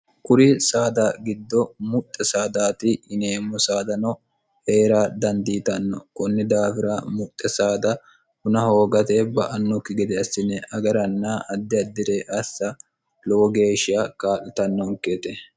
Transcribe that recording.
kuri saada giddo muxxe saadati yineemmo saadano hee'ra dandiitanno kunni daafira muxxe saada huna hoogate ba"annokki gede assine agaranna addi addi're assa lowo geeshsha kaa'litannoonkete